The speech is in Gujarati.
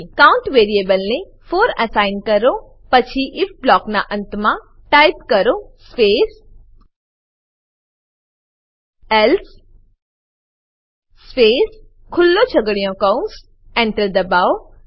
કાઉન્ટ વેરીએબલ ને 4અન્સાઈ કરો પછી ઇફ બ્લોક ના અંત માં ટાઈપ કરો સ્પેસ એલ્સે સ્પેસ ખુલ્લો છગડીયો કૌંસ Enter દબાવો